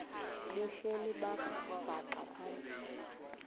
behleli bhaxa phantsi